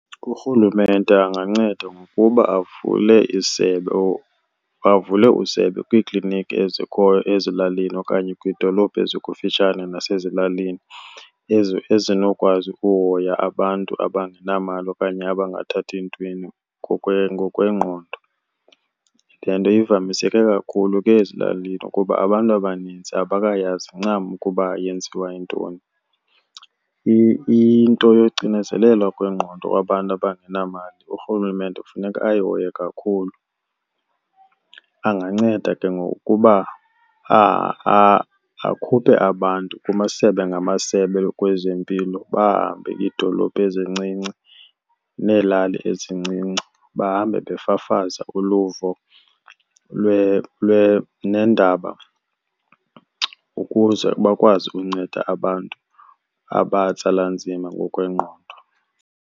URhulumente anganceda ngokuba avule isebe , bavule isebe kwiikliniki ezikhoyo ezilalini okanye kwidolophu ezikufitshane nasezilalini ezinokwazi ukuhoya abantu abangenamali okanye abangathathi ntweni ngokwengqondo. Le nto ivamiseke kakhulu ke ezilalini kuba abantu abaninzi abakayazi ncam ukuba yenziwa yintoni. Into yocinezelelo kwengqondo kwabantu abangenamali uRhulumente kufuneka ayihoye kakhulu. Anganceda ke ngokuba akhuphe abantu kumasebe ngamasebe kwezempilo bahambe iidolophu ezincinci neelali ezincinci bahambe befafaza uluvo neendaba ukuze bakwazi ukunceda abantu abatsala nzima ngokwengqondo.